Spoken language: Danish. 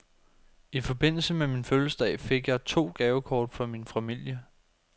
I forbindelse med min fødselsdag fik jeg to gavekort fra min familie.